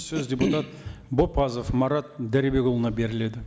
сөз депутат бопазов марат дәрібекұлына беріледі